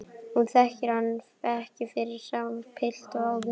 Hún þekkir hann ekki fyrir sama pilt og áður.